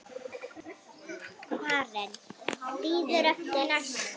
Karen: Bíður eftir næsta?